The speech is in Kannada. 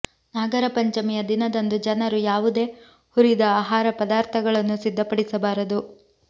ನಾಗರ ಪಂಚಮಿಯ ದಿನದಂದು ಜನರು ಯಾವುದೇ ಹುರಿದ ಆಹಾರ ಪದಾರ್ಥಗಳನ್ನು ಸಿದ್ಧಪಡಿಸಬಾರದು